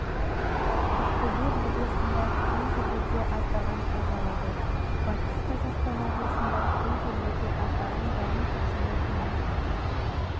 ақтөбе облысында кей жерлерде аздаған қар жауады батыс қазақстан облысында кей жерлерде аздаған жауын-шашынды тұман